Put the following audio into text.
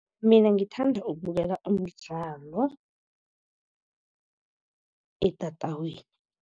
Mina ngithanda ukubukela umdlalo etatawini.